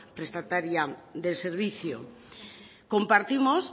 prestataria del servicio compartimos